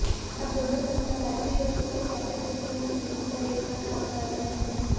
अब दोनों संस्था बैटरी और सुपर कैपेसिटर तकनीक पर एक साथ काम कर रहे हैं